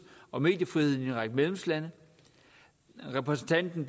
og mediefriheden i en række medlemslande repræsentanten